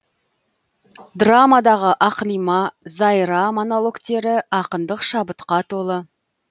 драмадағы ақлима зайра монологтері ақындық шабытқа толы